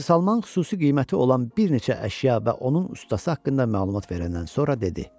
Hacı Salman xüsusi qiyməti olan bir neçə əşya və onun ustası haqqında məlumat verəndən sonra dedi: